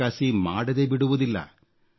ಚೌಕಾಸಿ ಮಾಡದೇ ಬಿಡುವುದಿಲ್ಲ